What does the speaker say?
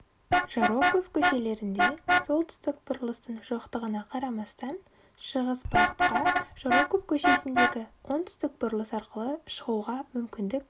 жароков көшелерінде солтүстік бұрылыстың жоқтығына қарамастан шығыс бағытқа жароков көшесіндегі оңтүстік бұрылыс арқылы шығуға мүмкіндік